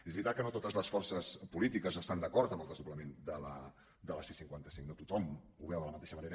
és veritat que no totes les forces polítiques estan d’a·cord amb el desdoblament de la c·cinquanta cinc no tothom ho veu de la mateixa manera